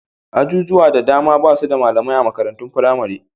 Ajujuwa da dama ba su da malamai a makarantun firamare.